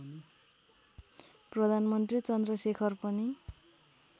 प्रधानमन्त्री चन्द्रशेखर पनि